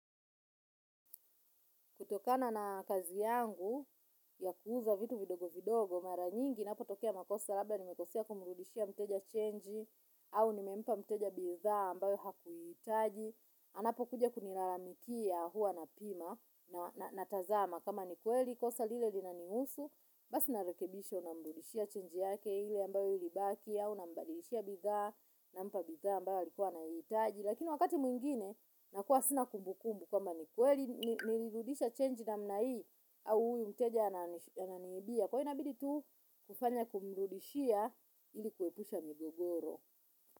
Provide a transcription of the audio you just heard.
Kutokana na kazi yangu ya kuuza vitu vidogo vidogo mara nyingi inapotokea makosa labda nimekosea kumrudishia mteja chenji au nimempa mteja bidhaa ambayo hakuihitaji. Anapokuja kunilalamikia huwa napima na natazama kama ni kweli kosa lile linanihusu basi narekebisha unamrudishia chenji yake ile ambayo ilibaki au unambadilishia bidhaa nampa bidhaa ambayo alikuwa anaihitaji. Lakini wakati mwingine nakuwa sina kumbukumbu kwamba ni kweli nilirudisha chenji namna hii. Au huyu mteja ananiibia. Kwa hivyo inabidi tu kufanya kumrudishia ili kuepusha migogoro.